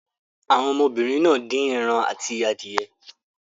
Àwọn ọmọbìnrin náà dín ẹran àti adìẹ.